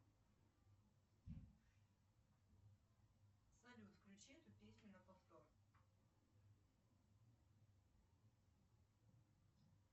салют включи эту песню на повтор